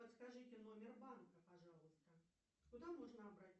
подскажите номер банка пожалуйста куда можно обратиться